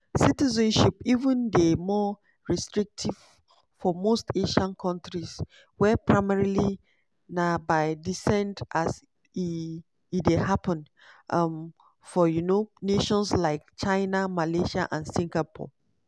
citizenship even dey more restrictive for most asian kontris where primarily na by descent as e dey happun um for um nations like china malaysia and singapore.